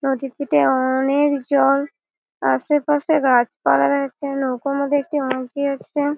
নদীর পিঠে অ-ওনেক জল। আশেপাশে গাছপালা নৌকার মধ্যে একটি মাঝি আছে।